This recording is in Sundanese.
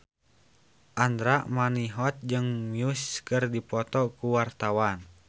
Andra Manihot jeung Muse keur dipoto ku wartawan